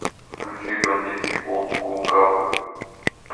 включи бандитский олд скул капы